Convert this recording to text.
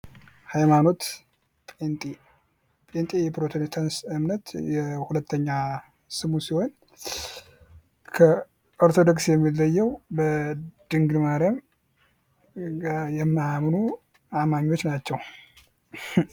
የኢትዮጵያ ካቶሊካዊት ቤተ ክርስቲያን: በኢትዮጵያ ውስጥ የተለያዩ የአምልኮ ስርዓቶችን ያቀፈ የካቶሊክ እምነት ተቋም ነው።